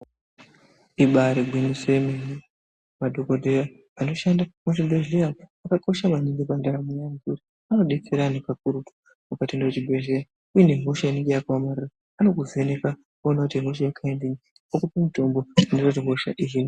Ibaarigwinyiso yemene, madhokodheya anoshanda muzvibhedhlera akakosha maningi pandaramo yedu anodetsera anhu kakurutu ukatoenda kuzvibhedhlera uine hosha inenge yakaomarara anokuvheneka oona kuti ihosha yekaindinyi okupa mutombo unoita kuti hosha ihinwe.